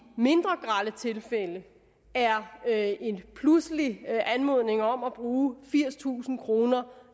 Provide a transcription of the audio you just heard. mindre grelle tilfælde er er en pludselig anmodning om skulle bruge firstusind kroner